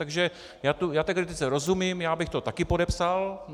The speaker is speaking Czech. Takže já té kritice rozumím, já bych to také podepsal.